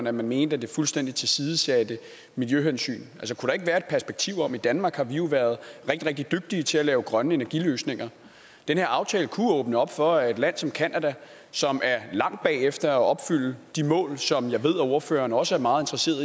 at man mente at den fuldstændig tilsidesætter miljøhensyn i danmark har vi jo været rigtig rigtig dygtige til at lave grønne energiløsninger den her aftale kunne åbne op for at et land som canada som er langt bagefter at opfylde de mål som jeg ved ordføreren også er meget